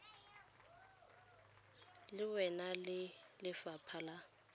le wena ya lefapha la